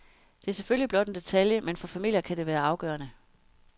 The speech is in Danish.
Det er selvfølgelig blot en detalje, men for familier kan det være afgørende.